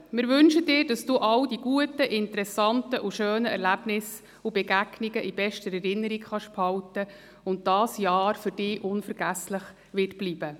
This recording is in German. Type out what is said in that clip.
Wir wünschen Ihnen, dass Sie all die guten, interessanten und schönen Erlebnisse und Begegnungen in bester Erinnerung behalten können und dieses Jahr für Sie unvergesslich bleibt.